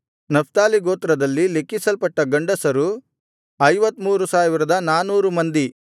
Naphtali ಗೋತ್ರದಲ್ಲಿ ಲೆಕ್ಕಿಸಲ್ಪಟ್ಟ ಗಂಡಸರು 53400 ಮಂದಿ